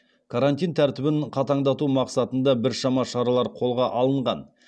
карантин тәртібін қатаңдату мақсатында біршама шаралар қолға алынған